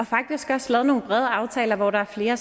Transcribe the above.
faktisk også lavet nogle brede aftaler hvor der er